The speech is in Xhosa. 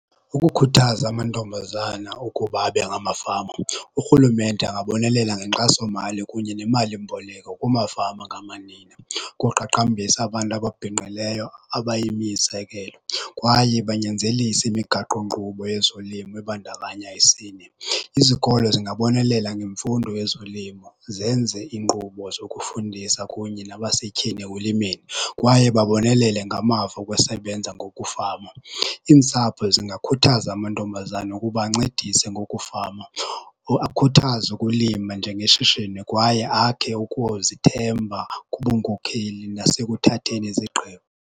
Ukukhuthaza amantombazana ukuba abe ngamafama, urhulumente angabonelela ngenkxasomali kunye nemalimboleko kumafama angamanina koqaqambisa abantu ababhinqileyo abayimizekelo kwaye banyanzelise imigaqonkqubo yezolimo ebandakanya isini. Izikolo zingabonelela ngemfundo yezolimo zenze inkqubo zokufundisa kunye nabasetyhini ekulimeni kwaye babonelele ngamava okusebenza ngokufama. Iintsapho zingakhuthaza amantombazana ukuba ancedise ngokufama, akhuthaze ukulima njengeshishini kwaye akhe ukuzithemba ngobunkokheli nasekuthatheni izigqibo.